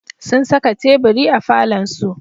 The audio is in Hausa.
Sun saka teburi a falonsu.